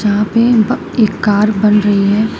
यहां पे ब एक कार बन रही है।